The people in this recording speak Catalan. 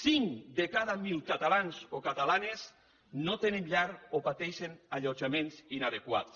cinc de cada mil catalans o catalanes no tenen llar o pateixen allotjaments inadequats